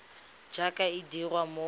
jaaka e dirwa mo go